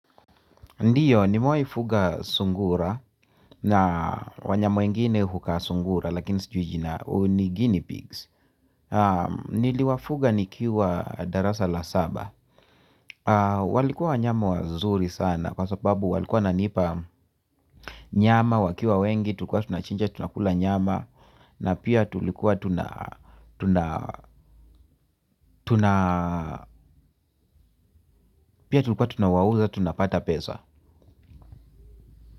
Ndiyo nimewahi fuga sungura na wanyama wengine hukaa sungura lakini sijui jina ni Guinea pigs. Niliwafuga nikiwa darasa la saba. Walikuwa wanyama wazuri sana kwa sababu walikuwa wananipa nyama wakiwa wengi tulikuwa tunachinja tunakula nyama na pia tulikuwa tunawauza tunapata pesa.